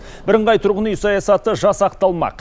бірыңғай тұрғын үй саясаты жасақталмақ